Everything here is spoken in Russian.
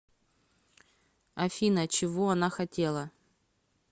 афина чего она хотела